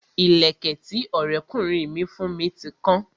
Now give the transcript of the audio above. Ìlẹ̀kẹ̀ tí Ọrẹ kunrin mi fún mi ti kan